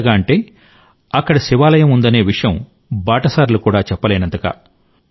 ఎంతగా అంటే అక్కడ శివాలయం ఉందనే విషయం బాటసారులు కూడా చెప్పలేనంతగా